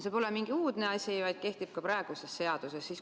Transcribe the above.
See pole mingi uudne asi, vaid kehtib ka praeguses seaduses.